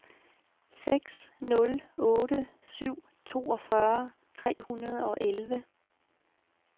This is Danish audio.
seks nul otte syv toogfyrre tre hundrede og elleve